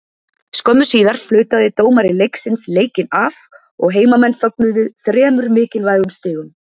Skömmu síðar flautaði dómari leiksins leikinn af og heimamenn fögnuðu þremur mikilvægum stigum.